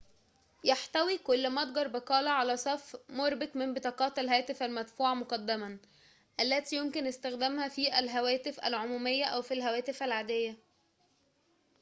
يحتوي كل متجر بقالة على صف مُربك من بطاقات الهاتف المدفوعة مُقدماً التي يمكن استخدامها في الهواتف العمومية أو في الهواتف العادية